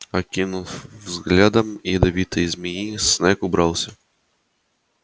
окинув взглядом ядовитой змеи снегг убрался